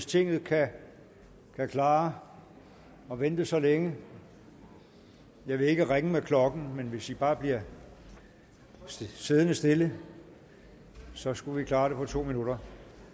tinget kan klare at vente så længe jeg vil ikke ringe med klokken men hvis man bare bliver siddende stille så skulle vi kunne klare det på to minutter